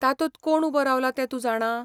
तातूंत कोण उबो रावला तें तूं जाणा?